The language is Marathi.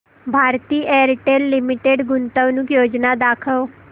भारती एअरटेल लिमिटेड गुंतवणूक योजना दाखव